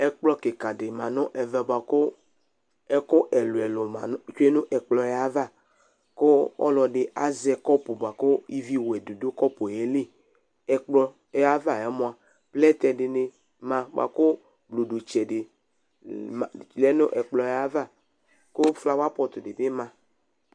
Ɛƙplɔ ƙɩƙa ɖɩ ma nʋ ɛvɛ bʋ ƙʋ ɛƙʋ ɛlʋɛlʋ tsue nʋ ɛƙplɔƴɛ avaƘʋ ɔlɔɖɩ azɛ ƙɔpʋ ƙʋ ivi wɛ ɖɩ ɖʋaƴiliƐƙplɔ be avaƴɛ mʋa ,plɛtɛ ɖɩnɩ ma bʋa ƙʋ nuɖutseɖe lɛ nʋ ɛƙplɔƴɛavaƑlawapɔtɔ ɖɩ bɩ ma